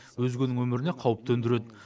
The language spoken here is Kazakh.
өзгенің өміріне қауіп төндіреді